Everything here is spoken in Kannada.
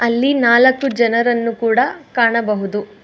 ಅಲ್ಲಿ ನಾಲಕ್ಕೂ ಜನರನ್ನು ಕೂಡ ಕಾಣಬಹುದು.